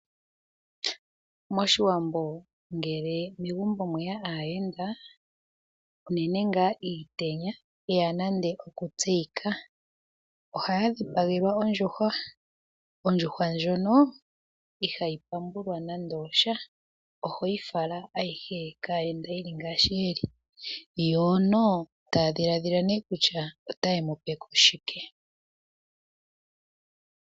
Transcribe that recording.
Moshiwambo ngele megumbo mweya aayenda, unene ngaa iitenya yeya nande oku tseyika, ohaya dhipagelwa ondjuhwa, ondjuhwa ndjono ihayi pambulwa nande osha , oho yi fala ayihe kaayenda yili ngaashi yili, yo no taya dhiladhila nee kutya otaye mu pe ko shike.